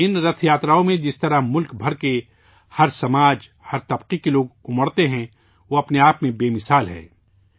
ان رتھ یاتراؤں میں جس طرح سے ملک بھر کے لوگ، ہر سماج اور ہر طبقے کے لوگ جمع ہوتے ہیں، وہ اپنے آپ میں ایک مثال ہے